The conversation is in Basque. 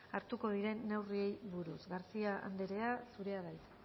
hartuko diren neurriei buruz garcía anderea zurea da hitza